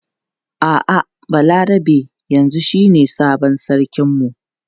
A'a Balarabe yanzu shine sabon sarkin mu.